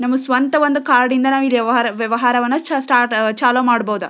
ನಮ್ಮ ಸ್ವಂತ ಒಂದು ಕಾರ್ಡ್ ಇಂದ ವ್ಯಹ ವ್ಯಹಾರವನ್ನ ಸ್ಟಾರ್ಟ್ ಚಾಲು ಮಾಡಬಹುದು.